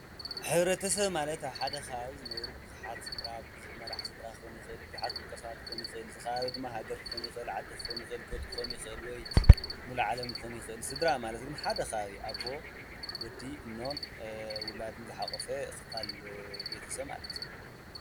ሕብረተሰብ ማለት ኣብ ሓደ ከባቢ ዝነብሩ ብዙሓት ስድራ ብዙሕ መራሒ ስድራ ክኾን ይኽእል፤ ብዙሓት ውልቀ ሰባት ክኾን ይኽእል፤ ከባቢ ድማ ሃገር ክኾን ይኽእል፤ ዓዲ ክኾን ይኽእል፤ ጎጥ ክኾን ይኽእል ወይ ሙሉእ ዓለም ክኾን ይኽእል፡፡ ስድራ ማለት ድማ ሓደ ከባቢ ኣቦ፣ ወዲ፣ እኖን ውላድን ዝሓቖፈ ክፋል ቤተሰብ ማለት እዩ፡፡